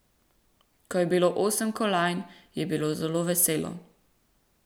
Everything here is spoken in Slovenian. Ko je bilo osem kolajn, je bilo zelo veselo.